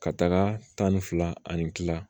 Ka taga tan ni fila ani kila